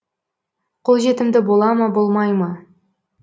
қолжетімді бола ма болмай ма